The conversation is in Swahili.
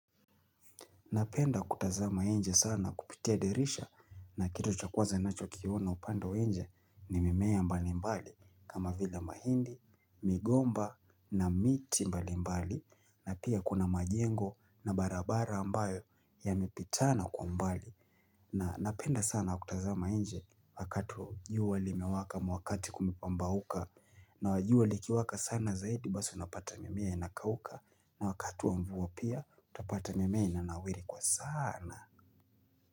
Napenda kutazama inje sana kupitia dirisha na kitu cha kwaza ninachokiona upande wa inje ni mimea mbalimbali kama vile mahindi, migomba na miti mbalimbali na pia kuna majengo na barabara ambayo yamepitana kwa mbali. Na napenda sana kutazama nje wakati jua limewaka mwakati kumepambauka na jua likiwaka sana zaidi basi unapata mimea inakauka na wakati wa mvua pia utapata mimea inanawiri kwa sana.